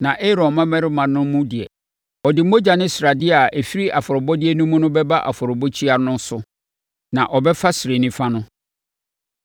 Na Aaron mmammarima no mu deɛ ɔde mogya ne sradeɛ a ɛfiri afɔrebɔdeɛ no mu bɛba afɔrebukyia no so na ɔbɛfa srɛ nifa no.